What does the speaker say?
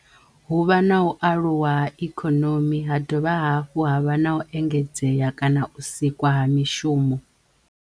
Hu vha na u aluwa ha ikhonomi ha dovha hafhu ha vha na u engedzeya kana u sikwa ha mishumo.